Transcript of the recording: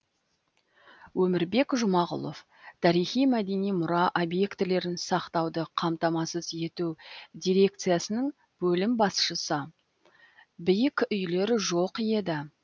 өмірбек жұмағұлов тарихи мәдени мұра объектілерін сақтауды қамтамасыз ету дирекциясының бөлім басшысы биік үйлер жоқ еді